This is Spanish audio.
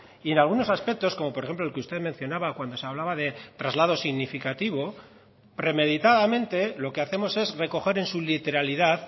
y en algunos aspectos como por ejemplo el que usted mencionaba cuando se hablaba de traslado significativo premeditadamente lo que hacemos es recoger en su literalidad